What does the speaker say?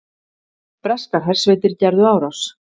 Breskar hersveitir gerðu árás